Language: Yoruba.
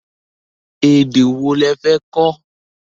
Èdè wo lo fẹ́ kó?